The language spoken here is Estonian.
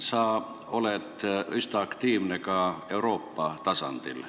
Sa oled üsna aktiivne ka Euroopa tasandil.